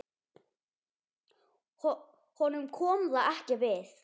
Honum kom það ekki við.